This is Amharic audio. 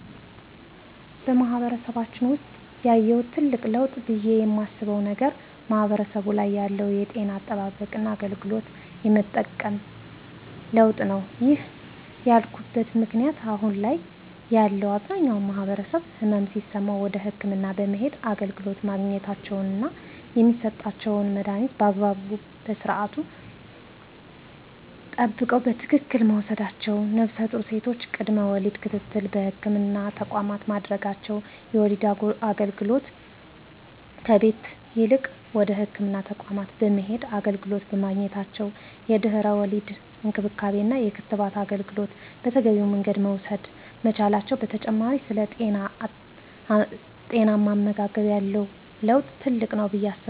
በማህበረሰባችን ውሰጥ ያየሁት ትልቅ ለውጥ ብየ የማስበው ነገር ማህበረሰቡ ላይ ያለው የጤና አጠባበቅና አገልግሎት የመጠቀም ለውጥ ነው። ይህን ያልኩበት ምክንያት አሁን ላይ ያለው አብዛኛው ማህበረሰብ ህመም ሲሰማው ወደ ህክምና በመሄድ አገልግሎት ማግኘታቸውና የሚሰጣቸውን መድሀኒት በአግባቡ ስዓት ጠብቀው በትክክል መውሰዳቸው ነፍሰጡር ሴቶች ቅድመ ወሊድ ክትትል በህክምና ተቋማት ማድረጋቸው የወሊድ አገልግሎት ከቤት ይልቅ ወደ ህክምና ተቋማት በመሄድ አገልግሎት በማግኘታቸው የድህረ ወሊድ እንክብካቤና የክትባት አገልግሎት በተገቢው መንገድ መውሰድ መቻላቸው በተጨማሪ ስለ ጤናማ አመጋገብ ያለው ለውጥ ትልቅ ነው ብየ አስባለሁ።